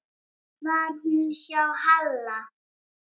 Var hún hjá Halla?